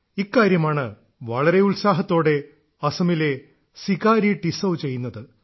ഇക്കാര്യമാണ് വളരെ ഉത്സാഹത്തോടെ അസമിലെ സികാരി ടിസൌ ചെയ്യുന്നത്